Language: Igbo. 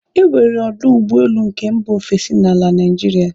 E nwere ọdụ ụgbọelu nke mba ofesi n'ala Naịjirịa